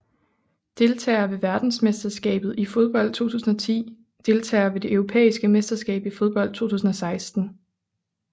Deltagere ved verdensmesterskabet i fodbold 2010 Deltagere ved det europæiske mesterskab i fodbold 2016